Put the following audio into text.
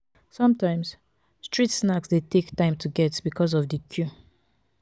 sometimes street snacks de take time to get because of di queue